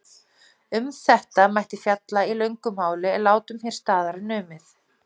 Um þetta mætti fjalla í löngu máli en látum hér staðar numið.